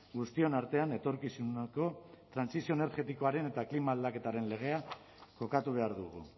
guztion artean etorkizuneko trantsizio energetikoaren eta klima aldaketaren legea kokatu behar dugu